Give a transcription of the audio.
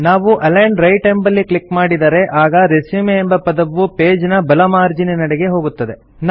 ನಾವು align right ಎಂಬಲ್ಲಿ click ಮಾಡಿದರೆ ಆಗ ರೆಸ್ಯೂಮ್ ಎಂಬ ಪದವು ಪೇಜ್ ನ ಬಲ ಮಾರ್ಜೀನಿನೆಡೆಗೆ ಹೋಗುತ್ತದೆ